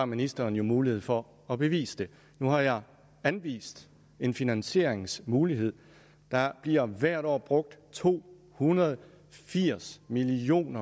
ministeren jo mulighed for at bevise det nu har jeg anvist en finansieringsmulighed der bliver hvert år brugt to hundrede og firs million